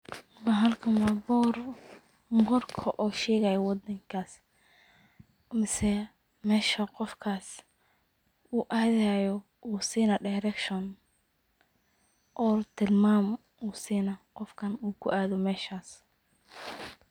Bahalkan wa boor. borka oo shegaya wadankas mise mesha qoftas uu adayo ayusinaya direction or tilmam ayu sinaya uu kuado meesha qofkas.